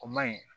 O ma ɲi